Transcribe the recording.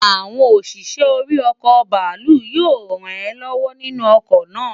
Awon osise̩ ori o̩kò̩ bàálù yío ràn é ló̩wó̩ nínú o̩kò̩ náà.